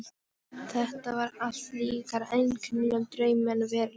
Þetta var allt líkara einkennilegum draumi en veruleika.